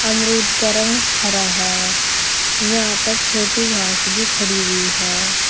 अमरूद का रंग हरा है यहां पर छोटी घास भी खड़ी हुई है।